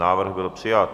Návrh byl přijat